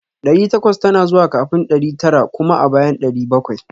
Ɗari takwas tana zuwa kafin ɗari tara kuma a bayan ɗari bakwai